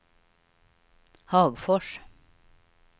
Hagfors